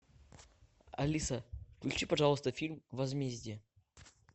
алиса включи пожалуйста фильм возмездие